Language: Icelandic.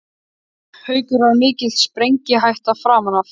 Haukur: Var mikil sprengihætta framan af?